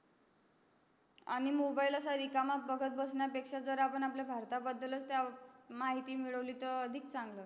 आणि मोबाइल असा रिकामस बघत असण्या पेक्षा आपण आपल्या भरता बद्दल च माहिती मिडवली तर अधिक चांगल होईल